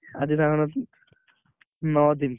ଆଜି ତାଙ୍କର ନଅ ଦିନ।